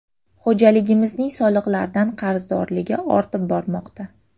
Xo‘jaligimizning soliqlardan qarzdorligi ortib bormoqda.